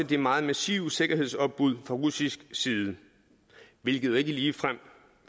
det meget massive sikkerhedsopbud fra russisk side hvilket jo ikke ligefrem